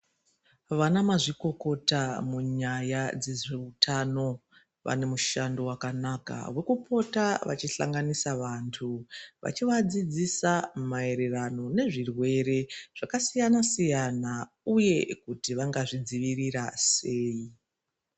Vana mazvikokota munyaya dzezve zveutano vane mushando wakanaka wekupota vekuhlanganisa vantu veipota veivadzidzisa maererano nezve zvirwere zvakasiyana siyana uye kuti vangazvidzivirira sei.